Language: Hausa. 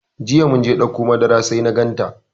Jiya mun je ɗauko makara sai na ganta.